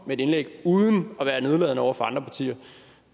med et indlæg uden at være nedladende over for andre partier